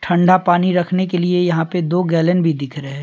ठंडा पानी रखने के लिए यहां पे दो गैलन भी दिख रहे हैं।